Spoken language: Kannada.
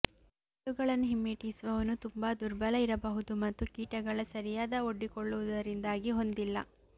ಜಿರಳೆಗಳನ್ನು ಹಿಮ್ಮೆಟ್ಟಿಸುವವನು ತುಂಬಾ ದುರ್ಬಲ ಇರಬಹುದು ಮತ್ತು ಕೀಟಗಳ ಸರಿಯಾದ ಒಡ್ಡಿಕೊಳ್ಳುವುದರಿಂದಾಗಿ ಹೊಂದಿಲ್ಲ